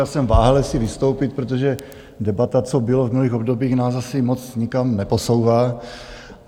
Já jsem váhal, jestli vystoupit, protože debata, co bylo v minulých obdobích, nás asi moc nikam neposouvá.